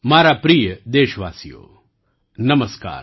મારા પ્રિય દેશવાસીઓ નમસ્કાર